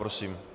Prosím.